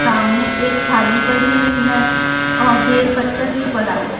सामने थाली पड़ी हुई है और बेलपत्तर भी पड़ा हुआ है।